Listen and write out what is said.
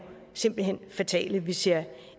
simpelt hen er fatale vi ser